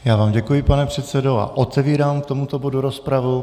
Já vám děkuji, pane předsedo, a otevírám k tomuto bodu rozpravu.